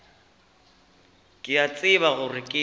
ke a tseba gore ke